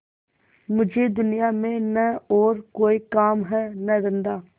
मुझे दुनिया में न और कोई काम है न धंधा